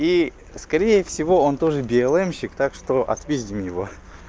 и скорее всего он тоже белэмщик так что отпиздим его